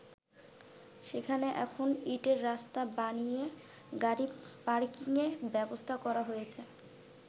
সেখানে এখন ইঁটের রাস্তা বানিয়ে গাড়ি পার্কিংয়ের ব্যবস্থা করা হয়েছে।